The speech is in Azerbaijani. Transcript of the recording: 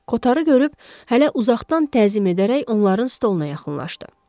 Kotarı görüb hələ uzaqdan təzim edərək onların stollarına yaxınlaşdı.